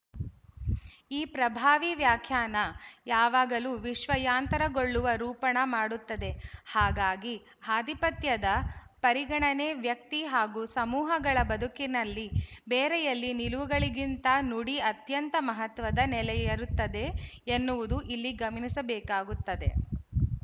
ಈ ಪ್ರಭಾವೀ ವ್ಯಾಖ್ಯಾನ ಯಾವಾಗಲೂ ವಿಶ್ವಯಾಂತರಗೊಳ್ಳುವ ರೂಪಣ ಮಾಡುತ್ತದೆ ಹಾಗಾಗಿ ಆಧಿಪತ್ಯದ ಪರಿಗಣನೆ ವ್ಯಕ್ತಿ ಹಾಗೂ ಸಮೂಹಗಳ ಬದುಕಿನಲ್ಲಿ ಬೇರೆಯಲ್ಲಿ ನಿಲುವುಗಳಿಗಿಂತ ನುಡಿ ಅತ್ಯಂತ ಮಹತ್ವದ ನೆಲೆಯಿರುತ್ತದೆ ಎನ್ನುವುದನ್ನು ಇಲ್ಲಿ ಗಮನಿಸಬೇಕಾಗುತ್ತದೆ